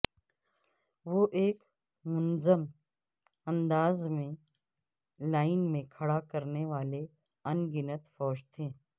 وہ ایک منظم انداز میں لائن میں کھڑا کرنے والے ان گنت فوج تھے